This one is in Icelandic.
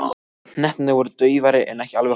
Hnettirnir voru daufari en ekki alveg horfnir.